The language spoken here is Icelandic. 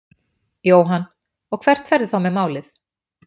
Jóhann: Og hvert ferðu þá með málið?